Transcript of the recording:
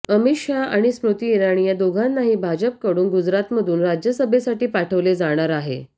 अमित शहा आणि स्मृती इराणी या दोघांनाही भाजपकडून गुजरातमधून राज्यसभेसाठी पाठवले जाणार आहे